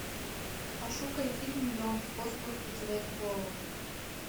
пошукай фильм миллион способов потерять голову